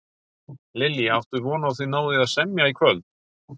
Lillý: Áttu von á að þið náið að semja í kvöld?